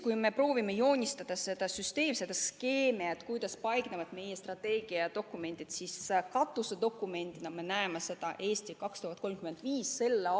Kui me proovime joonistada seda süsteemi, seda skeemi, kuidas meie strateegiadokumendid paiknevad, siis "Eesti 2035" on katusdokument.